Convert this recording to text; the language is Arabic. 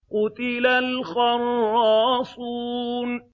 قُتِلَ الْخَرَّاصُونَ